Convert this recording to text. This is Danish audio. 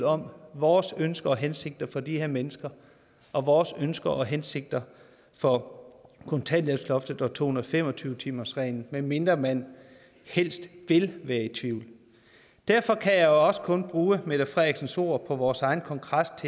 om vores ønsker og hensigter for de her mennesker og vores ønsker og hensigter for kontanthjælpsloftet og to hundrede og fem og tyve timersreglen medmindre man helst vil være i tvivl derfor kan jeg også kun bruge mette frederiksens ord på vores egen kongres